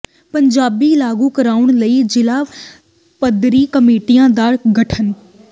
ਪੰਜਾਬੀ ਲਾਗੂ ਕਰਾਉਣ ਲਈ ਜ਼ਿਲ੍ਹਾ ਪੱਧਰੀ ਕਮੇਟੀਆਂ ਦਾ ਗਠਨ